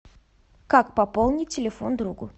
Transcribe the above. как пополнить телефон другу